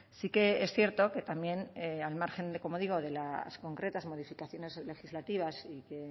sí que es cierto que también al margen de como digo de las concretas modificaciones legislativas y que